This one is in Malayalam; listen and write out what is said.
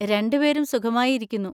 രണ്ടുപേരും സുഖമായി ഇരിക്കുന്നു.